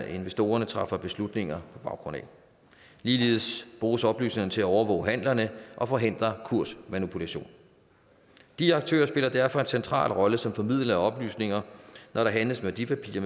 investorerne træffer beslutninger på baggrund af ligeledes bruges oplysningerne til at overvåge handlerne og forhindre kursmanipulation de aktører spiller derfor en central rolle som formidlere af oplysninger når der handles værdipapirer